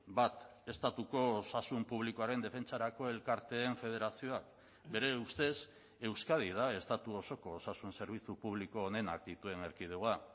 bat estatuko osasun publikoaren defentsarako elkarteen federazioa bere ustez euskadi da estatu osoko osasun zerbitzu publiko onenak dituen erkidegoa